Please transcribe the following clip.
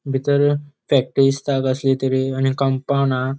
भितर फॅक्टरी दिसता कसली तरी आणि कम्पाउन्ड हा.